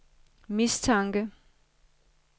mistanke